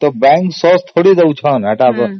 ତ bank source ତ ଦଉନି